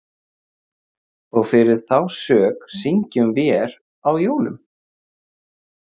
Og fyrir þá sök syngjum vér á jólum